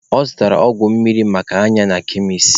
Ọ zụtara ọgwụ mmiri maka anya na kemis.